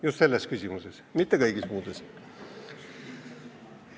Just selles küsimuses, mitte kõigis, muuseas.